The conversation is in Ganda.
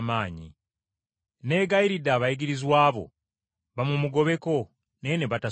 Neegayiridde abayigirizwa bo bamumugobeko, naye ne batasobola.”